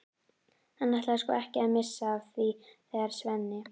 Hann ætlaði sko ekki að missa af því þegar Svenni